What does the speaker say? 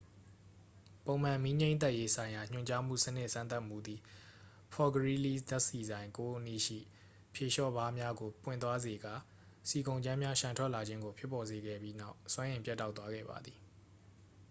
ပုံမှန် မီးငြှိမ်းသတ်ရေးဆိုင်ရာညွှန်ကြားမှုစနစ်စမ်းသပ်မှုသည် ဖော့ဖ်ဂရီးလီး ဓာတ်ဆီဆိုင် 9 အနီးရှိ ဖြေလျှော့ဗားများကို ပွင့်သွားစေကာ ဆီကုန်ကြမ်းများ လျှံထွက်လာခြင်းကို ဖြစ်ပေါ်စေခဲ့ပြီးနောက် စွမ်းအင်ပြတ်တောက်သွားခဲ့ပါသည်